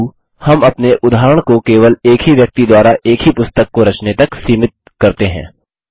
किन्तु हम अपने उदाहरण को केवल एक ही व्यक्ति द्वारा एक ही पुस्तक को रचने तक सीमित करते हैं